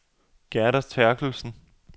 Gerda Therkelsen